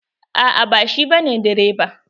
A'a ba shi ba ne direba.